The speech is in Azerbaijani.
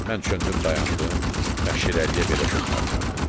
Mən döndüm dayandım və Şirəliyə belə söz qaytardım: